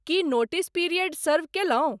की notice period सर्व केलहुँ?